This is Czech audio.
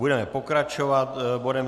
Budeme pokračovat bodem